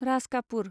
राज कापुर